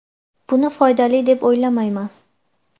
Buni foydali deb o‘ylamayman.